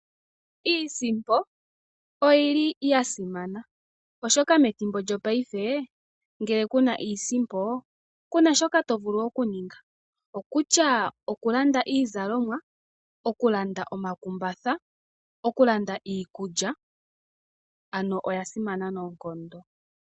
Iisimpo oya simana, oshoka methimbo lyopaife ngele ku na iisimpo, ku na shoka to vulu okuninga. Kutya okulanda iizalomwa, okulanda omakumbatha, okulanda iikulya, ano oya simana noonkondo.